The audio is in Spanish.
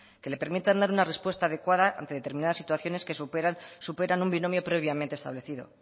que le permitan dar una respuesta adecuada ante determinadas situaciones que superan un binomio previamente establecido